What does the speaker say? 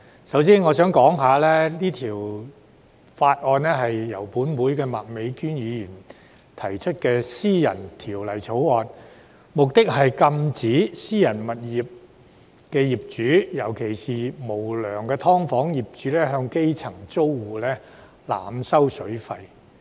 首先必須交代，是項《條例草案》是由本會麥美娟議員提出的私人條例草案，目的是禁止私人物業的業主，尤其是無良的"劏房"業主向基層租戶濫收水費。